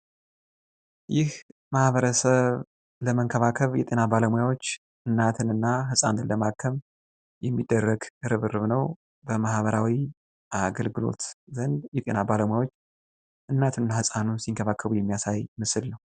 ይህ ማህበረሰብ ለመንከባከብ የጤና ባለሙያዎች እናትንና ህጻንን ለማከም የሚደረግ ርብርብ ነው። በማህበራዊ አገልግሎት የጤና ባለሙያዎች እናትና ህጻኑን ሲንከባከቡ የሚያሳይ ምስል ነው።